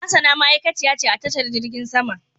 Hassana ma'aikaciya ce a tashar jirgin saman.